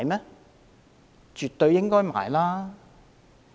是絕對應該購買的。